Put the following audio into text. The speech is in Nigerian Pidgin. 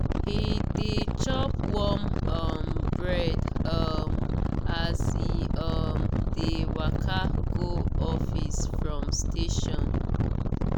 he dey chop warm um bread um as he um dey waka go office from station.